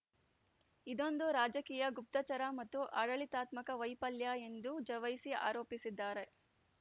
ಇದೊಂದು ರಾಜಕೀಯ ಗುಪ್ತಚರ ಮತ್ತು ಆಡಳಿತಾತ್ಮಕ ವೈಫಲ್ಯ ಎಂದು ಒವೈಸಿ ಆರೋಪಿಸಿದ್ದಾರೆ